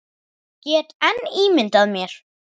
Ég get enn ímyndað mér!